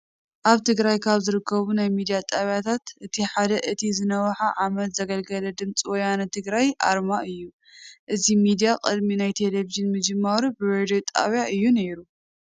ኣብ ትግራይ ካብ ዝርከቡ ናይ ሚዲያ ጣብያታት እቲ ሓደን እቲ ዝነውሓ ዓመት ዘገልገለን ድምፂ ወያነ ትግራይ ኣርማ እዩ። እዚ ሚዲያ ቅድሚ ናብ ቴሌቪዥን ምጅማሩ ብሬድዩ ጣብያ እዩ ነይሩ።